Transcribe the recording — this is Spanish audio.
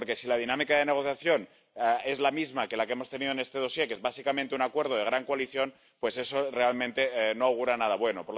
Porque si la dinámica de negociación es la misma que la que hemos tenido en este expediente, que es básicamente un acuerdo de gran coalición, pues eso realmente no augura nada bueno.